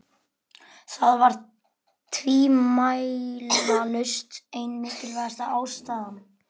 Það var tvímælalaust ein mikilvægasta ástæðan.